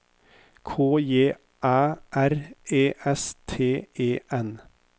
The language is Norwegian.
K J Æ R E S T E N